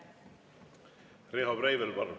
Riho Breivel, palun!